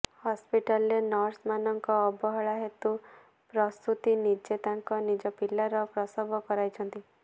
ହସ୍ପିଟାଲ୍ରେ ନର୍ସମାନଙ୍କ ଅବହେଳା ହେତୁ ପ୍ରସୂତୀ ନିଜେ ତାଙ୍କ ନିଜ ପିଲାର ପ୍ରସବ କରାଇଛନ୍ତି